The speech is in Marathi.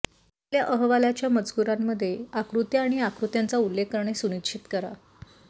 आपल्या अहवालाच्या मजकूरामध्ये आकृत्या आणि आकृत्यांचा उल्लेख करणे सुनिश्चित करा